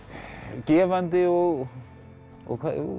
gefandi og